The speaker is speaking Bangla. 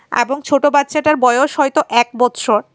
এবং ছোটো বাচ্চাটার বয়স হয়তো এক বছর।